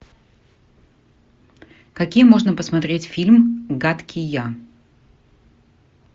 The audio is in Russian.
какие можно посмотреть фильм гадкий я